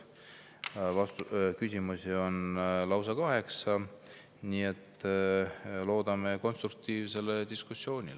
Küsimusi on lausa kaheksa, nii et loodame konstruktiivsele diskussioonile.